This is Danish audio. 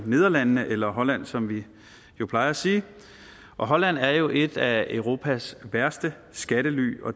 nederlandene eller holland som vi plejer at sige og holland er jo et af europas største skattely